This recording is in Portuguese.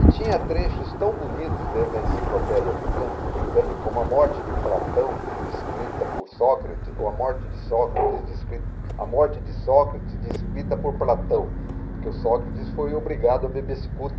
E tinha trechos tão bonitos dentro da enciclopédia bricânica britânica como a morte de Platão, descrita por Sócrates, ou a morte de Sócrates, descrita, a morte de Sócrates, descrita por Platão, porque Sócrates foi obrigado a beber cicuta.